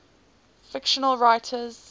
fictional writers